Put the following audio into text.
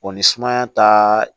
ni sumaya ta